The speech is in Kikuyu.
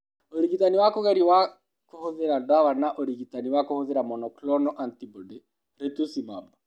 Ũrigitani wa kũgerio wa kũhũthĩra ndawa na ũrigitani wa kũhũthĩra monoclonal antibody (rituximab).